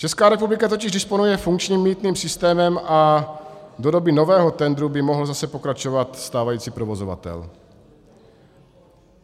Česká republika totiž disponuje funkčním mýtným systémem a do doby nového tendru by mohl zase pokračovat stávající provozovatel.